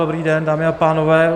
Dobrý den, dámy a pánové.